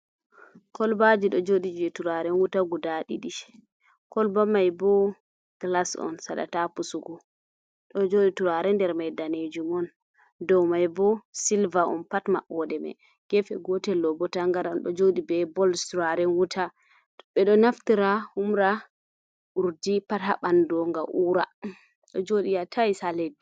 Kolbaji ɗo joɗi je turaren wuta guda ɗiɗi, kolba mai bo glas on saɗata pusugo, ɗo joɗi turare nder mai danejum on, dow mai bo silve on, pat maɓɓoɗe mai gefe gotel mai bo tagaran, ɗo joɗi be bols turaren wuta. Ɓeɗo naftira humra urdi pat ha ɓandu ngam ura, do joɗi ha tais ha leddi.